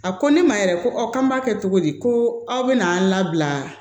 A ko ne ma yɛrɛ ko ɔ k'an b'a kɛ cogo di ko aw bɛna an labila